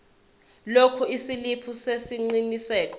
lokhu isiliphi sesiqinisekiso